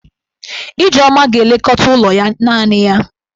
Ijeoma ga-elekọta ụlọ ya naanị ya.